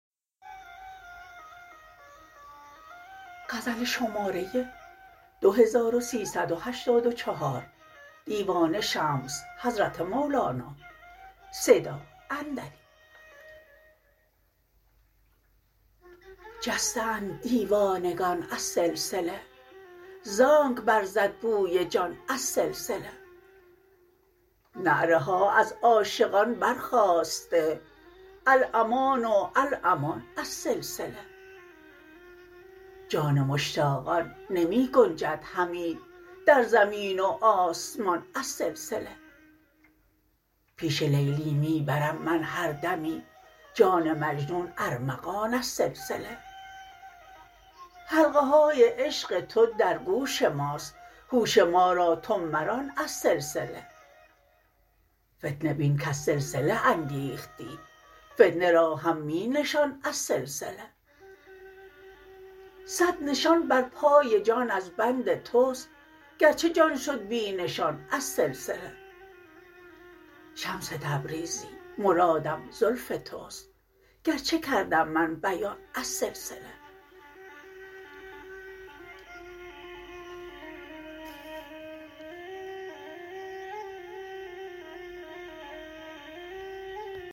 جسته اند دیوانگان از سلسله ز آنک برزد بوی جان از سلسله نعره ها از عاشقان برخاسته الامان و الامان از سلسله جان مشتاقان نمی گنجد همی در زمین و آسمان از سلسله پیش لیلی می برم من هر دمی جان مجنون ارمغان از سلسله حلقه های عشق تو در گوش ماست هوش ما را تو مران از سلسله فتنه بین کز سلسله انگیختی فتنه را هم می نشان از سلسله صد نشان بر پای جان از بند توست گرچه جان شد بی نشان از سلسله شمس تبریزی مرادم زلف توست گرچه کردم من بیان از سلسله